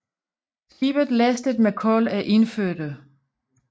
Skibet lastes med kul af indfødte